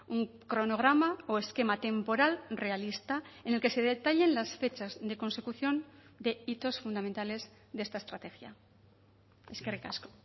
un cronograma o esquema temporal realista en el que se detallen las fechas de consecución de hitos fundamentales de esta estrategia eskerrik asko